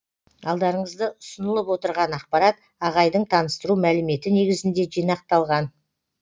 алдарыңызды ұсынылып отырған ақпарат ағайдың таныстыру мәліметі негізінде жинақталған